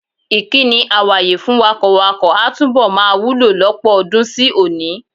Ìkíni "àwàye" fún wakọ̀wakọ̀ a túbọ̀ máa wúlò lọ́pọ̀ ọdún sí òní.